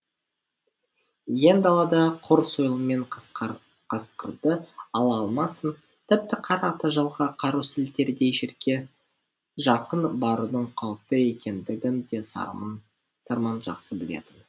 иен далада құр сойылмен қасқырды ала алмасын тіпті қара тажалға қару сілтердей жерге жақын барудың қауіпті екендігін де сарман жақсы білетін